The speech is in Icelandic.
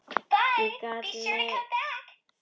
Ég gat mig hvergi hrært fyrir aðdáun